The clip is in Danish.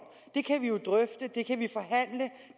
de kan vi